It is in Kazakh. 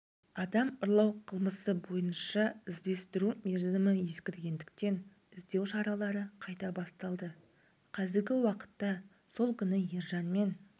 адам ұрлау қылмысы бойынша іздестіру мерзімі ескіргендіктен іздеу шаралары қайта басталды қазіргі уақытта сол күні ержанмен